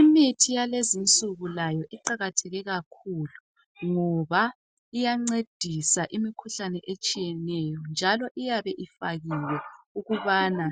Imithi yalezi insuku layo iqakatheke kakhulu ngoba iyancedisa imikhuhlane etshiyeneyo njalo iyabe ifakiwe ukubana